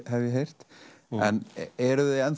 hef ég heyrt en eruð þið